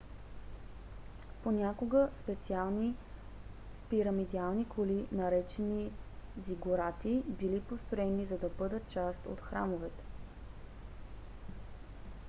понякога специални пирамидални кули наречени зигурати били построени за да бъдат част от храмовете